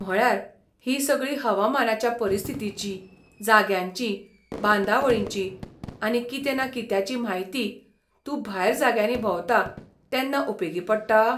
म्हळ्यार, ही सगळी हवामानाच्या परिस्थितींची, जाग्यांची, बांदावळींची आनी कितें ना कित्याची म्हायती तूं भायर जाग्यांनी भोंवता तेन्ना उपेगी पडटा?